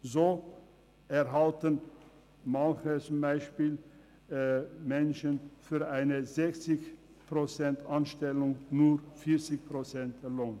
So erhalten manche Menschen beispielsweise für eine 60-Prozent-Anstellung nur 40 Prozent Lohn.